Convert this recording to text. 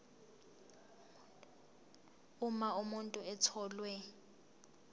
uma umuntu etholwe